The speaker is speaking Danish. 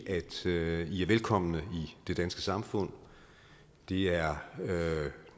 at sige at i er velkomne i det danske samfund det er